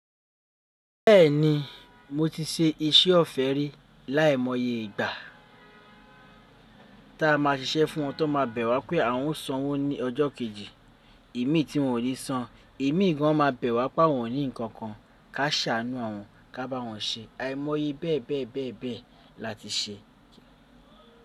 Bẹ́ẹ̀ni, mo ti ṣe iṣẹ́ ọ̀fẹ́ rí. Lai mọye ìgbà ta a máa ṣiṣẹ́ fún wọn tó máa bẹ̀ wá pé àwọn ń sọ wọ́n ní ọjọ́ kejì. Èmi tí wọn ò lè san. Èmi gan o máa bẹ̀ wá pa wọ́n ní nǹkan kan ká ṣàánú àwọn, ká bá wọn ṣe. Àìmọye bẹ́ẹ̀ bẹ́ẹ̀ bẹ́ẹ̀ bẹ́ẹ̀ la ti ṣe.